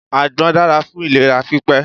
Àgbọn dára fún ìlera pípé.